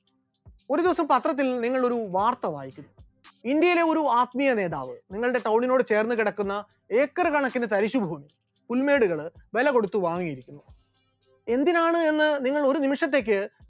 ഒരു ദിവസം പത്രത്തിൽ നിങ്ങൾ ഒരു വാർത്ത വായിക്കുന്നു, ഇന്ത്യയിലെ ഒരു ആത്മീയ നേതാവ് നിങ്ങളുടെ town നോട് ചേർന്ന് കിടക്കുന്ന acre കണക്കിന് തരിശുഭൂമി, പുൽമേടുകൾ എന്നിവ വിലകൊടുത്ത് വാങ്ങുന്നു, എന്തിനാണ് എന്ന് നിങ്ങൾ ഒരു നിമിഷത്തേക്ക്